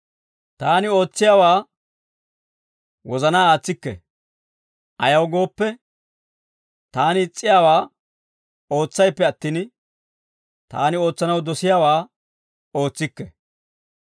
taani ootsiyaawaa wozanaa aatsikke; ayaw gooppe, taani is's'iyaawaa ootsayppe attin, taani ootsanaw dosiyaawaa ootsikke.